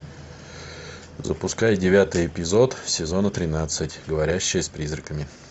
запускай девятый эпизод сезона тринадцать говорящая с призраками